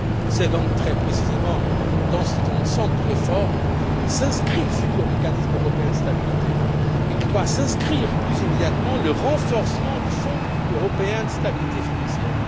C'est donc très précisément dans cet ensemble de réformes que s'inscrit le futur mécanisme européen de stabilité et que doit s'inscrire plus immédiatement le renforcement du fonds européen de stabilité financière.